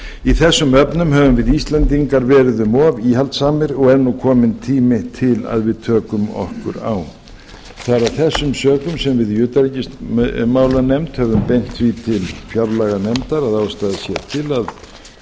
í þessum efnum höfum við íslendingar verið um of íhaldssamir og er nú kominn tími til að við tökum okkur á það er af þessum sökum sem við í utanríkismálanefnd höfum beint háttvirtur til fjárlaganefndar að ástæða sé til